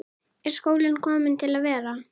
Eggert Ólafsson impraði á því í ferðabók sinni